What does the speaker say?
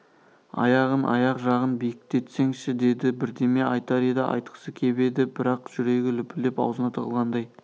аяғын аяқ жағын биіктесеңші деді бірдеме айтар еді айтқысы кеп еді бірақ жүрегі лүпілдеп аузына тығылғандай